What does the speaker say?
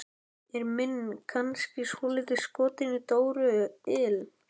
Er minn kannski svolítið skotinn í Dóru il?